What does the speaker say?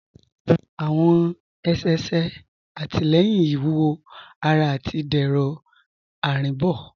Awọn ẹ̀ṣẹ̀ ṣẹ̀ àtilẹ̀yìn iwúwọ̀ ará àti dẹrọ arínbo.